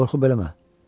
Qorxub eləmə.